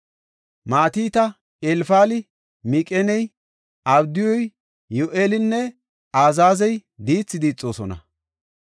Matita, Elfali, Miqineyi, Abdiyuy Yi7eelinne Azaazey diithi diixoosona.